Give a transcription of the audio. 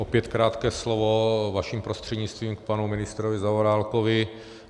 Opět krátké slovo, vaším prostřednictvím k panu ministrovi Zaorálkovi.